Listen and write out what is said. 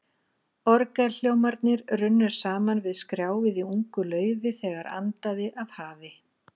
Orgelhljómarnir runnu saman við skrjáfið í ungu laufi, þegar andaði af hafi.